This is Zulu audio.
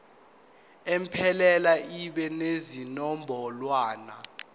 iphelele ibe nezinombolwana